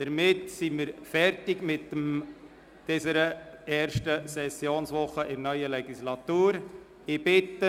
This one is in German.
Damit sind wir am Ende der ersten Sessionswoche der neuen Legislaturperiode angelangt.